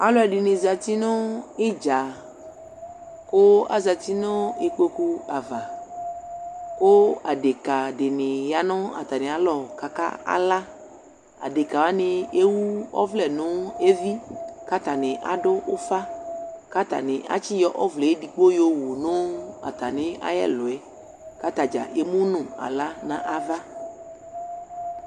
Alu ɛdini zati nu udza ku azati nu ikpoku di ava ku adeka dini yanu atami alɔ adeka wani ewu ɔvlɛ nu evi katani adu ufa katani asi yɔ ɔvlɛ edigbo yɔ wu nu atami ayɛluɛ atadza ke mu nu ala nava